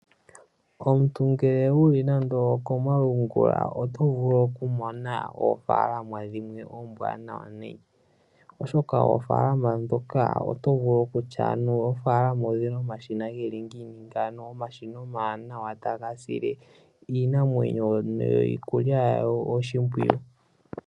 Omuntu ngele wuli nando okomalungula oto vulu okumona oofalama dhimwe oombwanawa nayi oshoka oofalama ndhoka otovulu okutya anuwa oofalama odhina omashina geli ngiini ngawo , omashina omawanawa taga sile iinamwenyo niikulya yawo oshimpwiyu.